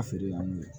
A feere y'an wele